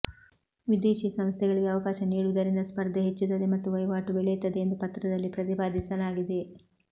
ವಿದೇಶಿ ಸಂಸ್ಥೆಗಳಿಗೆ ಅವಕಾಶ ನೀಡುವುದರಿಂದ ಸ್ಪರ್ಧೆ ಹೆಚ್ಚುತ್ತದೆ ಮತ್ತು ವಹಿವಾಟು ಬೆಳೆಯುತ್ತದೆ ಎಂದು ಪತ್ರದಲ್ಲಿ ಪ್ರತಿಪಾದಿಸಲಾಗಿದೆ